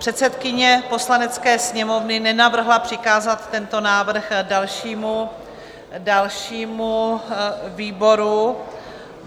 Předsedkyně Poslanecké sněmovny nenavrhla přikázat tento návrh dalšímu výboru.